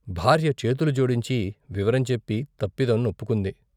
భార్య చేతులు జోడించి వివరంచెప్పి తప్పిదం వొప్పుకుంది.